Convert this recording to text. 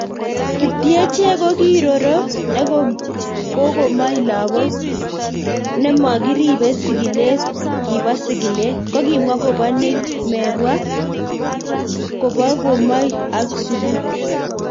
Kiptiecheek ko kiroro ne ko komoi lagok nemo kiribe sigilet kibo sigilet, ko kimwa kobo ne mebwa kobo komoi ak sugul.